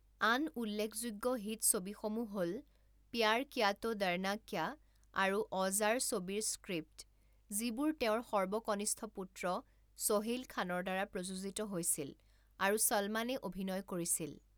আন উল্লেখযোগ্য হিট ছবিসমূহ হ'ল প্যাৰ কিয়া তো ডৰনা ক্যা আৰু অওজাৰ ছবিৰ স্ক্ৰিপ্ট, যিবোৰ তেওঁৰ সৰ্বকনিষ্ঠ পুত্ৰ ছোহেইল খানৰ দ্বাৰা প্ৰযোজিত হৈছিল আৰু চলমানে অভিনয় কৰিছিল।